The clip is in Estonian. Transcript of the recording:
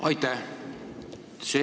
Aitäh!